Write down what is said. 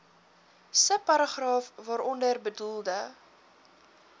subparagraaf waaronder bedoelde